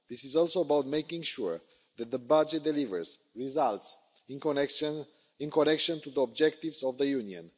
This is also about making sure that the budget delivers results connected to the objectives of the Union.